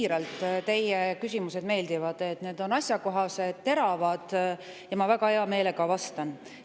Mulle teie küsimused meeldivad, ütlen siiralt, sest need on asjakohased ja teravad ning ma väga hea meelega neile vastan.